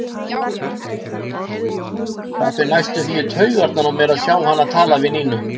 Það fer næstum því í taugarnar á mér að sjá hana tala við Nínu.